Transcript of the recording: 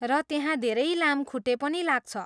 र त्यहाँ धेरै लामखुट्टे पनि लाग्छ।